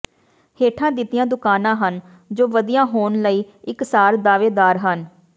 ਹੇਠਾਂ ਦਿੱਤੀਆਂ ਦੁਕਾਨਾਂ ਹਨ ਜੋ ਵਧੀਆ ਹੋਣ ਲਈ ਇਕਸਾਰ ਦਾਅਵੇਦਾਰ ਹਨ